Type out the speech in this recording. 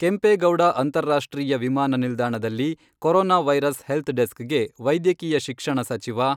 ಕೆಂಪೇಗೌಡ ಅಂತಾರಾಷ್ಟ್ರೀಯ ವಿಮಾನ ನಿಲ್ದಾಣದಲ್ಲಿ ಕರೋನಾ ವೈರಸ್ ಹೆಲ್ತ್ ಡೆಸ್ಕ್ಗೆ ವೈದ್ಯಕೀಯ ಶಿಕ್ಷಣ ಸಚಿವ